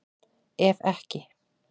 Ef ekki